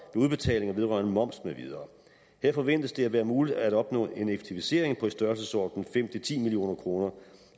udbetalinger vedrørende moms med videre her forventes det at være muligt at opnå en effektivisering i størrelsesordenen fem ti million kroner